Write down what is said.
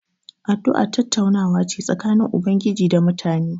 Addu'a tattaunawa ce tsakanin Ubangiji da mutane.